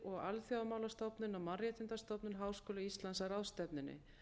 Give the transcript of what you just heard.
og alþjóðamálastofnun og mannréttindastofnun háskóla íslands að ráðstefnunni